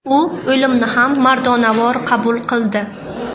U o‘limni ham mardonavor qabul qildi.